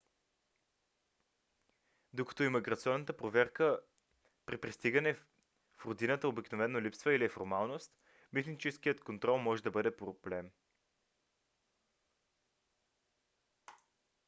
докато имиграционната проверка при пристигане в родината обикновено липсва или е формалност митническият контрол може да бъде проблем